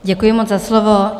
Děkuji moc za slovo.